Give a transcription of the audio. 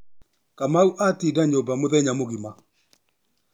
Kamau atinda nyũmba mũthenya mũgima.